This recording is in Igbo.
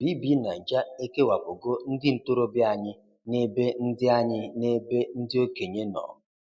BBNaija e kewapụgo ndị ntorobịa anyị n'ebe ndị anyị n'ebe ndị okenye nọ.